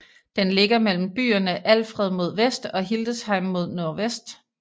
Den ligger mellem byerne Alfeld mod vest og Hildesheim mod nordvest